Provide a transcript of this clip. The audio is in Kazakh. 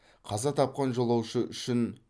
қаза тапқан жолаушы үшін